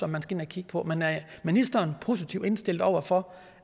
man skal ind at kigge på men er ministeren positivt indstillet over for